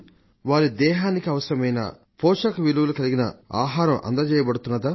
వారి శరీరానికి అవసరమైన పౌష్టికాహారం అందజేయబడుతున్నదా